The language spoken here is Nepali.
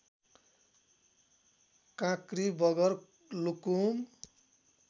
काँक्री बगर लुकुम